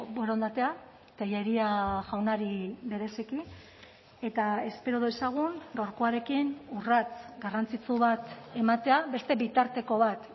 borondatea telleria jaunari bereziki eta espero dezagun gaurkoarekin urrats garrantzitsu bat ematea beste bitarteko bat